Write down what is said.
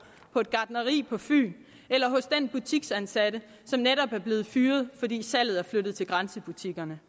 på et gartneri på fyn eller hos den butiksansatte som netop er blevet fyret fordi salget er flyttet til grænsebutikkerne